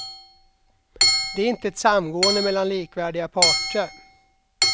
Det är inte ett samgående mellan likvärdiga parter.